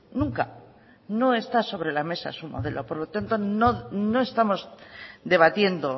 nunca no está sobre la mesa su modelo por lo tanto no estamos debatiendo